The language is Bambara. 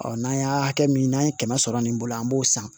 n'an y'a hakɛ min n'an ye kɛmɛ sɔrɔ nin bolo an b'o san